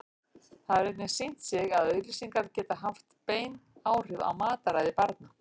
Það hefur einnig sýnt sig að auglýsingar geta haft bein áhrif á mataræði barna.